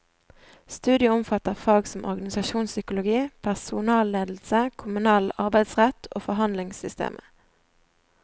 Studiet omfatter fag som organisasjonspsykologi, personalledelse, kommunal arbeidsrett og forhandlingssystemet.